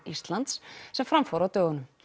Íslands sem fram fór á dögunum